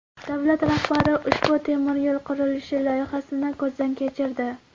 Davlat rahbari ushbu temiryo‘l qurilishi loyihasini ko‘zdan kechirdi.